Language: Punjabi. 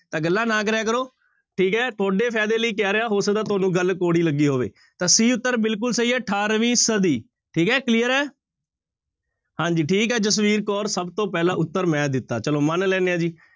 ਤਾਂ ਗੱਲਾਂ ਨਾ ਕਰਿਆ ਕਰੋ ਠੀਕ ਹੈ ਤੁਹਾਡੇ ਫ਼ਾਇਦੇ ਲਈ ਕਹਿ ਰਿਹਾਂ ਹੋ ਸਕਦਾ ਤੁਹਾਨੂੰ ਗੱਲ ਕੌੜੀ ਲੱਗੀ ਹੋਵੇ ਤਾਂ c ਉੱਤਰ ਬਿਲਕੁਲ ਸਹੀ ਹੈ ਅਠਾਰਵੀਂ ਸਦੀ ਠੀਕ ਹੈ clear ਹੈ ਹਾਂਜੀ ਠੀਕ ਹੈ ਜਸਵੀਰ ਕੌਰ ਸਭ ਤੋਂ ਪਹਿਲਾਂ ਉੱਤਰ ਮੈਂ ਦਿੱਤਾ ਚਲੋ ਮੰਨ ਲੈਂਦੇ ਹਾਂ ਜੀ।